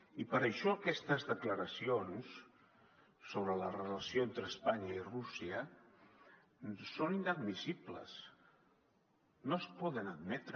i per això aquestes declaracions sobre la relació entre espanya i rússia són inadmissibles no es poden admetre